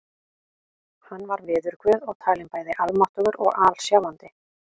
Hann var veðurguð og talinn bæði almáttugur og alsjáandi.